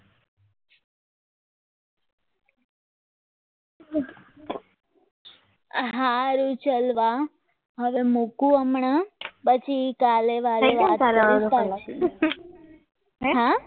આ સારું સારું હવે મૂકો હમણાં પછી કાલે કાલે વાત કરીશું